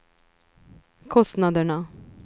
kostnaderna